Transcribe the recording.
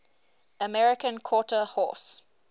american quarter horse